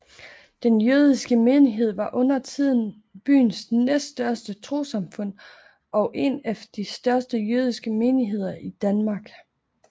Den jødiske menighed var undertiden byens næststørste trossamfund og en af de største jødiske menigheder i Danmark